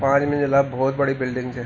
पांच मंजिला भौत बडी बिल्डिंग च।